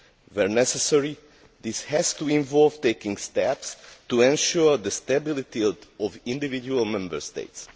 Where necessary, this has to involve taking steps to ensure the stability of individual Member States.